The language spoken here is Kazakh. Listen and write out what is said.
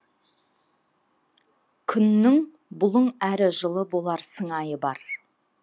күннің бұлың әрі жылы болар сыңайы бар